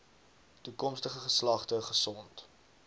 toekomstige geslagte gesond